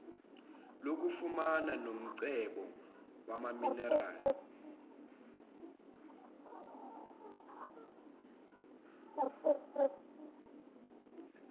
lokufunana nomcebo wamaminerali